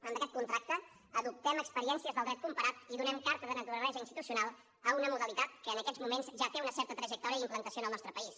amb aquest contracte adoptem experiències del dret comparat i donem carta de naturalesa institucional a una modalitat que en aquests moments ja té una certa trajectòria i implantació en el nostre país